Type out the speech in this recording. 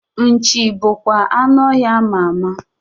Nchi bụ bụkwa anụ ọhịa ama ama